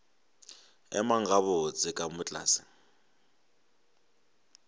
emang gabotse ka moo tlase